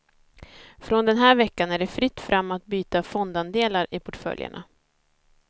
Från den här veckan är det fritt fram att byta fondandelar i portföljerna.